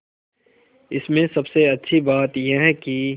इसमें सबसे अच्छी बात यह है कि